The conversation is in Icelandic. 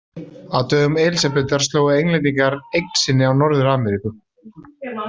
Á dögum Elísabetar slógu Englendingar eign sinni á Norður-Ameríku.